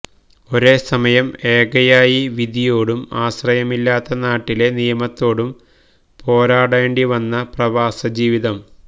ഒരേ സമയം ഏകയായി വിധിയോടും ആശ്രയമില്ലാത്ത നാട്ടിലെ നിയമത്തോടും പോരാടേണ്ടി വന്ന പ്രവാസ ജീവിതം